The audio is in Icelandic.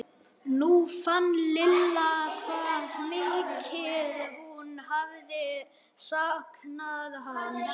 Nú fann Lilla hvað mikið hún hafði saknað hans.